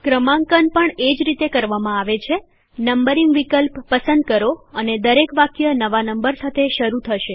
ક્રમાંકન પણ એ જ રીતે કરવામાં આવે છે નંબરીંગ વિકલ્પ પસંદ કરો અને દરેક વાક્ય નવા નંબર સાથે શરૂ થશે